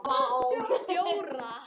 fjóra